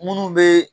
Minnu bɛ